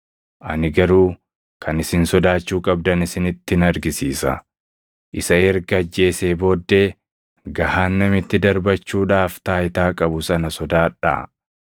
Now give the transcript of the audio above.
Ani garuu kan isin sodaachuu qabdan isinittin argisiisa; isa erga ajjeesee booddee gahaannamitti darbachuudhaaf taayitaa qabu sana sodaadhaa; eeyyee, ani isinittin hima; isa sodaadhaa.